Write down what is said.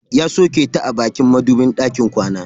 Ya soke ta a bakin madubin ɗakin kwana.